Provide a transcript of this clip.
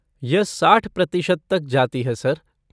यह साठ प्रतिशत तक जाती है, सर।